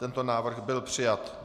Tento návrh byl přijat.